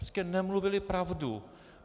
Prostě nemluvili pravdu.